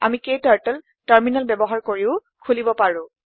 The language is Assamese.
আমি ক্টাৰ্টল টাৰ্মিনেল ব্যৱহাৰ কৰিও খোলিব পাৰো